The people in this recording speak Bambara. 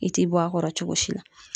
I ti bɔ a kɔrɔ cogo si la